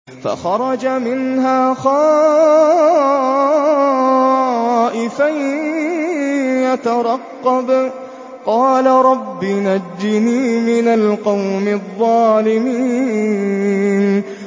فَخَرَجَ مِنْهَا خَائِفًا يَتَرَقَّبُ ۖ قَالَ رَبِّ نَجِّنِي مِنَ الْقَوْمِ الظَّالِمِينَ